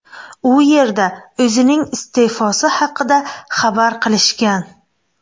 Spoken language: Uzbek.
U yerda o‘zining iste’fosi haqida xabar qilishgan.